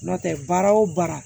N'o tɛ baara o baara